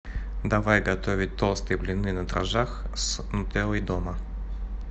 давай готовить толстые блины на дрожжах с нутеллой дома